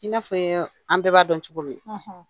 I n'a fɔ an bɛɛ b'a dɔn cogo min